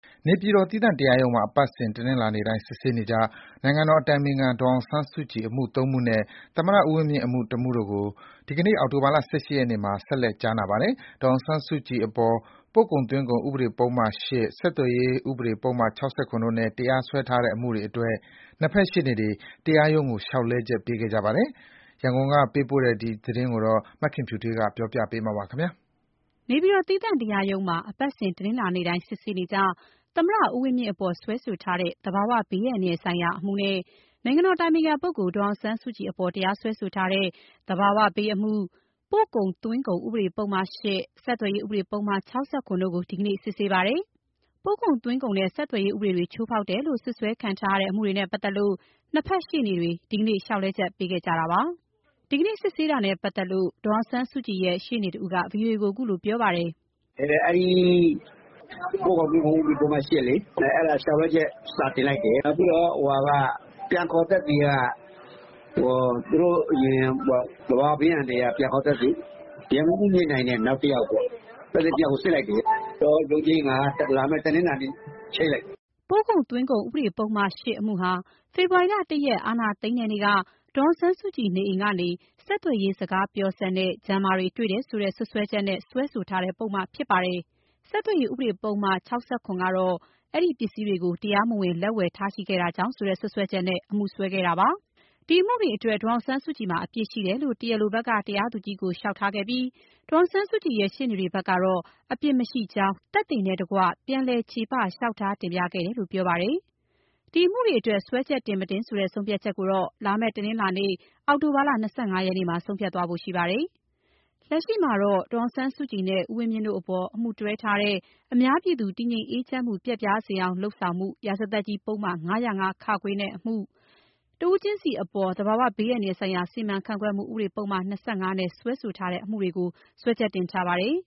နေပြည်တော် သီးသန့်တရားရုံးမှာ အပတ်စဉ်တနင်္လာနေ့တိုင်း စစ်ဆေးနေကျ နိုင်ငံတော်အတိုင်ပင်ခံ ဒေါ်အောင်ဆန်းစုကြည် အမှု ၃ မှုနဲ့ သမ္မတဦးဝင်းမြင့် အမှု ၁ မှု တို့ကို ဒီနေ့အောက်တိုဘာ ၁၈ ရက်မှာ ဆက်လက် ကြားနာပါတယ်။ ဒေါ်အောင်ဆန်းစုကြည်အပေါ် ပို့ကုန်သွင်းကုန်ဥပဒေ ပုဒ်မ ၈၊ဆက်သွယ်ရေး ဥပဒေပုဒ်မ ၆၇ တို့နဲ့ တရားစွဲထားတဲ့ အမှုတွေအတွက် နှစ်ဖက်ရှေ့နေ တွေ တရားရုံးကို လျှောက်လဲချက်ပေးခဲ့ကြပါတယ်။ ရန်ကုန်က ပေးပို့ထားတဲ့သတင်း မခင်ဖြူထွေးက တင်ပြထားပါတယ်။ နေပြည်တော် သီးသန့်တရားရုံးမှာ အပတ်စဉ်တနင်္လာနေ့တိုင်း စစ်ဆေးနေကျ သမ္မတဦးဝင်းမြင့်အပေါ် စွဲထားတဲ့ သဘာဝဘေးအန္တရာယ်ဆိုင်ရာအမှုနဲ့ နိုင်ငံတော်အတိုင်ပင်ခံ ဒေါ်အောင်ဆန်းစုကြည်အပေါ် တရားစွဲထားတဲ့ သဘာဝဘေးအမှု၊ ပို့ကုန်သွင်းကုန်ဥပဒေ ပုဒ်မ ၈၊ ဆက်သွယ်ရေးဥပဒေပုဒ်မ ၆၇ တို့ကို ဒီကနေ့စစ်ဆေးပါတယ်။ ပို့ကုန်သွင်းကုန်နဲ့ ဆက်သွယ်ရေး ဥပဒေတွေချိုးဖောက်တယ်လို့ စွပ်စွဲခံထားရတဲ့ အမှုတွေနဲ့ပတ်သက်လို့၂ ဘက်ရှေ့နေတွေ ဒီနေ့ လျှာက်လဲချက်ပေးခဲ့ကြပါတယ်။ ဒီကနေ့ စစ်ဆေးတာနဲ့ပတ်သက်လို့ ဒေါ်အောင်ဆန်းစုကြည်ရဲ့ ရှေ့နေကြီးတဦးက ဗွီအိုအေကို အခုလို ပြောပြပါတယ်။ “အန်ကယ်လိုက်တဲ့အမှုလေ။ ပို့ကုန်သွင်းကုန်ဥပဒေက လျှောက်လဲချက် စာတင်လိုက်တယ်။ နောက်ပြီးတော့ ပြန်ခေါ်သက်သေက သဘာဝဘေးအန္တရာယ်ကပြန်ခေါ်သက်သေ။ ရဲမှုးကြီး မြင့်နိုင်နဲ့ နောက်တယောက်ကို စစ်လိုက်တယ်။ ရုံးချိန်းကလာမယ့် တနင်္လာနေ့ကိုချိန်းလိုက်တယ်။” ပို့ကုန်သွင်းကုန်ဥပဒေ ပုဒ်မ ၈ အမှုဟာ ဖေဖော်ဝါရီ ၁ ရက် အာဏာသိမ်းတဲ့နေ့က ဒေါ်အောင်ဆန်းစုကြည် နေအိမ်ကနေ ဆက်သွယ်ရေးစကားပြောစက်နဲ့ Jammer တွေ့တယ်ဆိုတဲ့ စွပ်စွဲချက်နဲ့ စွဲဆိုထားတဲ့ ပုဒ် မ ဖြစ်ပါတယ်။ ဆက်သွယ်ရေး ဥပဒေ ပုဒ်မ ၆၇ ကတော့ အဲဒီပစ္စည်းတွေကို တရားမဝင်လက်ဝယ်ထားရှိခဲ့ တာကြောင့်ဆိုတဲ့စွပ်စွဲချက် နဲ့ အမှုစွဲခဲ့တာဖြစ်ပါတယ်။ ဒီအမှုတွေအတွက် ဒေါ်အောင်ဆန်းစုကြည်မှာ အပြစ်ရှိတယ်လို့ တရားလိုဘက်က တရားသူကြီးကို လျှောက်ထားခဲ့ပြီး ဒေါ်အောင်ဆန်းစုကြည်ရဲ့ ရှေ့နေတွေဘက်ကတော့ အပြစ်မရှိကြောင်း သက်သေနဲ့တကွ ပြန်လည်ချေပ လျှောက်ထားတင်ပြခဲ့တယ်လို့ ပြောပါတယ်။ ဒီအမှုတွေအတွက် စွဲချက်တင် မတင်ဆိုတဲ့ ဆုံးဖြတ်ချက်ကိုတော့ လာမယ့် တနင်္လာနေ့ အောက်တိုဘာ ၂၅ ရက်နေ့မှာ ဆုံးဖြတ်သွားဖို့ ရှိပါတယ်။ လက်ရှိမှာတော့ ဒေါ်အောင်ဆန်းစုကြည်နဲ့ ဦးဝင်းမြင့်တို့အပေါ် အမှုတွဲထားတဲ့ အများပြည်သူ တည်ငြိမ်အေးချမ်းမှု ပျက်ပြားစေအောင် လုပ်ဆောင်မှု၊ ရာဇသတ်ကြီးဥပဒေ ပုဒ်မ ၅၀၅-ခ အမှု၊ တဦးချင်းစီအပေါ် သဘာဝဘေး အန္တရာယ်ဆိုင်ရာ စီမံခန့်ခွဲမှု ဥပဒေ ပုဒ်မ ၂၅ နဲ့ စွဲထားတဲ့ အမှုတို့ကို စွဲချက်တင်ထားပါတယ်